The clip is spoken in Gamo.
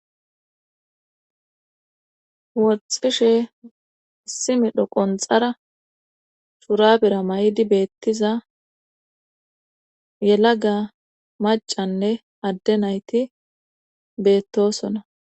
Woxishe simedho qonxara shurabira may7di beettiza yelaga macanne adde nayti beettosona.